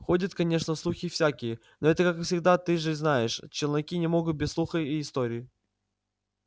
ходят конечно слухи всякие но это как всегда ты же знаешь челноки не могут без слухов и историй